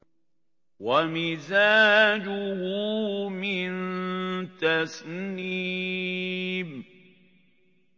وَمِزَاجُهُ مِن تَسْنِيمٍ